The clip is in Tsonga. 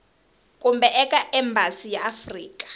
kumbe eka embasi ya afrika